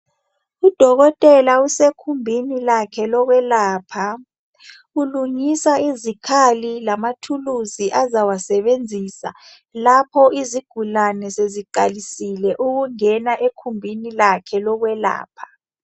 Udokotela usekhumbini lakhe lokwelapha ulungisa izikhali lamathuluzi azawasebenzisa lapho izigulane seziqalisile ukungena ekhumbini lakhe lokwelapha.